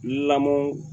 Lamɔ